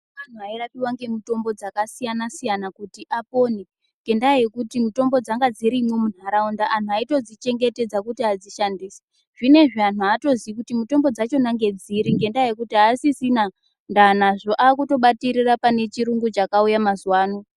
Antu airapiwa ngemitombo dzakaasiyana-siyana kuti apone. Ngendaa yekuti mutombo dzanga dzirimwo muntaraunda. Antu aitodzichengetedza kuti adzishandise. Zvinezvi antu haatozivi kuti mitombo dzachona ngedziri ngendaa yekuti haasisia ndaa nazvo, aakutobatirira pane chirungu chakauya mazuvano.